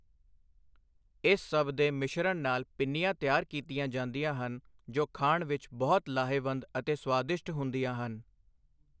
ਇਸ ਸਭ ਦੇ ਮਿਸ਼ਰਨ ਨਾਲ਼ ਪਿੰਨੀਆਂ ਤਿਆਰ ਕੀਤੀਆਂ ਜਾਂਦੀਆਂ ਹਨ ਜੋ ਖਾਣ ਵਿੱਚ ਬਹੁਤ ਲਾਹੇਵੰਦ ਅਤੇ ਸਵਾਦਿਸ਼ਟ ਹੁੰਦੀਆਂ ਹਨ।